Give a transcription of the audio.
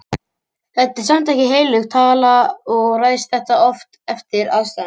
Þetta er samt ekki heilög tala og ræðst þetta oft eftir aðstæðum.